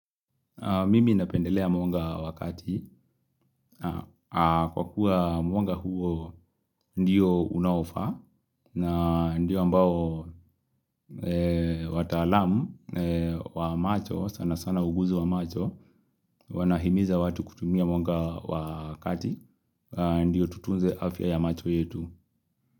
Mimi napendelea mwonga wakati. Kwa kuwa mwonga huo ndio unaofa na ndio ambao watalamu wa macho sana sana uguzo wa macho wanahimiza watu kutumia mwonga wakati ndio tutunze afya ya macho yetu.